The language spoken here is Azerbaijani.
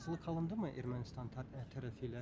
Razılıq alınıb mı Ermənistan tərəfi ilə?